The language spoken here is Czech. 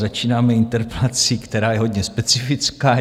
Začínáme interpelací, která je hodně specifická.